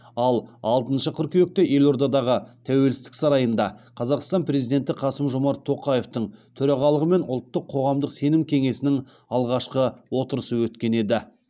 ал алтыншы қыркүйекте елордадағы тәуелсіздік сарайында қазақстан президенті қасым жомарт тоқаевтың төрағалығымен ұлттық қоғамдық сенім кеңесінің алғашқы отырысы өткен еді